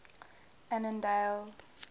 annandale